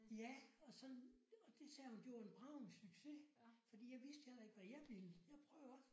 Ja og sådan og det sagde hun det var en bragende succes fordi jeg vidste heller ikke hvad jeg ville jeg prøvede også